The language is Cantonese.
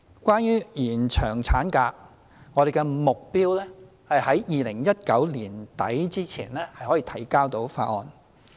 關於延長法定產假，我們的目標是在2019年年底前可向立法會提交有關法案。